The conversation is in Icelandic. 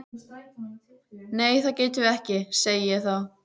Nei það getum við ekki, segi ég þá.